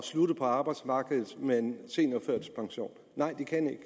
slutte på arbejdsmarkedet med en seniorførtidspension nej det kan de